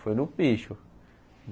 Foi no picho.